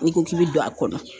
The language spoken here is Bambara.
N'i ko k'i bɛ don a kɔnɔ